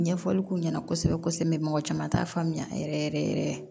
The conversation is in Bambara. Ɲɛfɔli k'u ɲɛna kosɛbɛ kosɛbɛ t'a faamuya yɛrɛ yɛrɛ yɛrɛ